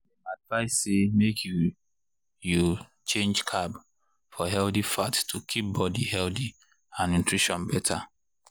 dem advise say make you you change carb for healthy fat to keep body healthy and nutrition better.